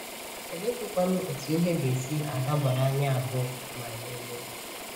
Oleezikwanụ otú ihe ga - esi adabara anyị abụọ ma anyị lụọ?